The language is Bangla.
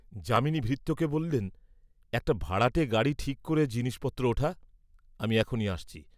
যামিনী ভৃত্যকে বলিলেন একটা ভাড়াটে গাড়ী ঠিক করে জিনিসপত্র ওঠা, আমি এখনি আসছি।